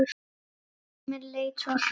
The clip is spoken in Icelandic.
Tíminn leið svo hratt.